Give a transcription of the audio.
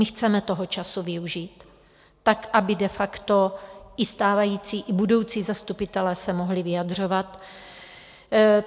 My chceme toho času využít tak, aby de facto i stávající i budoucí zastupitelé se mohli vyjadřovat.